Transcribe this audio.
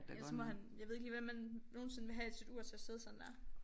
Ellers så må han jeg ved ikke lige hvordan man nogensinde vil have sit ur til at sidde sådan der